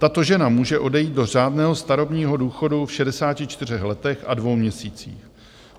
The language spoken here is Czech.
Tato žena může odejít do řádného starobního důchodu v 64 letech a dvou měsících.